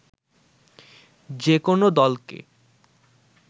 যেকোনো দলকে